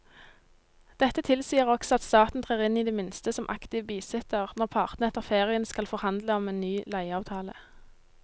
Dette tilsier også at staten trer inn i det minste som aktiv bisitter når partene etter ferien skal forhandle om en ny leieavtale.